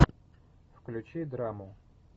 включи драму